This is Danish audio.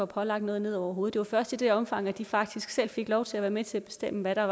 pålagt noget noget det var først i det omfang at de faktisk selv fik lov til at være med til at bestemme hvad der